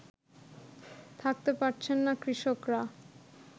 থাকতে পারছেন না কৃষকরা